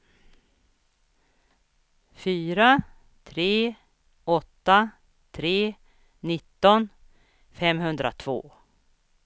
fyra tre åtta tre nitton femhundratvå